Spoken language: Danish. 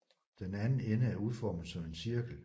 Den anden ende er udformet som en cirkel